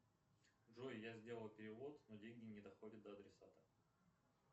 джой я сделал перевод но деньги не доходят до адресата